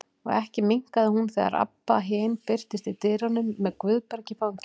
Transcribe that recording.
Og ekki minnkaði hún þegar Abba hin birtist í dyrunum með Guðberg í fanginu.